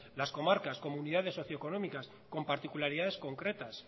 las comarcas comunidades socioeconómicas con particularidades concretas